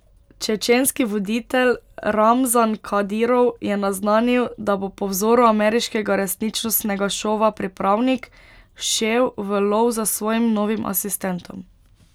Čečenski voditelj Ramzan Kadirov je naznanil, da bo po vzoru ameriškega resničnostnega šova Pripravnik, šel v lov za svojim novim asistentom.